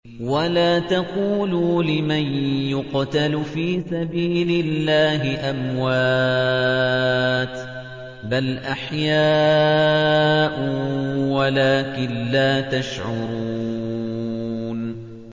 وَلَا تَقُولُوا لِمَن يُقْتَلُ فِي سَبِيلِ اللَّهِ أَمْوَاتٌ ۚ بَلْ أَحْيَاءٌ وَلَٰكِن لَّا تَشْعُرُونَ